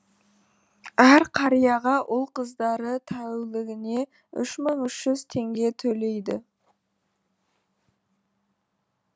әр қарияға ұл қыздары тәулігіне үш мың үш жүз теңге төлейді